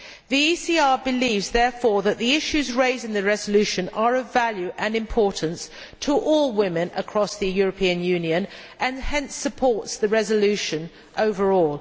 The ECR believes, therefore, that the issues raised in the resolution are of value and importance to all women across the European Union and hence supports the resolution overall.